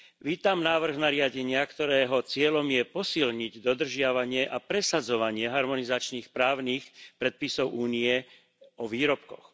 Vítam návrh nariadenia, ktorého cieľom je posilniť dodržiavanie a presadzovanie harmonizačných právnych predpisov Únie o výrobkoch.